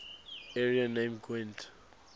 area named gwent